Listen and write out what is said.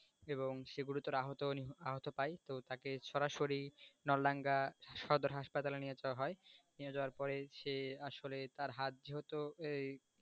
এবং সে গুরুতর আহত পায় তো তাকে সরাসরি সদর হাসপাতালে নিয়ে যাওয়া হয়, নিয়ে যাওয়ার পরে সে আসলে তার হাত যেহেতু